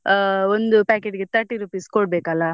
ಆಹ್ ಒಂದು packet ಗೆ thirty rupees ಕೊಡ್ಬೇಕು ಅಲ.